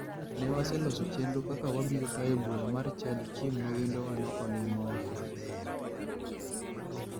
Ne waloso chenro kaka wabiro tayo bura mar chadi chieng ma wendowano olimowa.